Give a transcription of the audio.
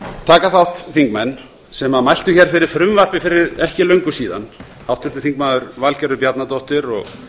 taka þátt þingmenn sem mæltu hér fyrir frumvarpi fyrir ekki löngu síðan háttvirtur þingmaður valgerður bjarnadóttir og